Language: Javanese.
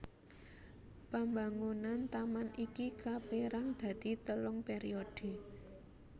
Pambangunan taman iki kapérang dadi telung pèriodhe